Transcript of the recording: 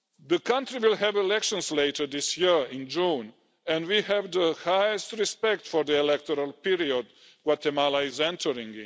The country will have elections later this year in June and we have the highest respect for the electoral period Guatemala is entering.